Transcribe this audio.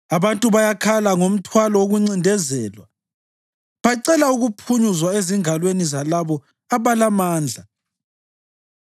Abantu bayakhala ngomthwalo wokuncindezelwa; bacela ukuphunyuzwa ezingalweni zalabo abalamandla.